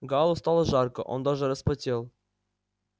гаалу стало жарко он даже вспотел